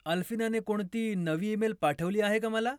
अल्फीनाने कोणती नवी ईमेल पाठवली आहे का मला?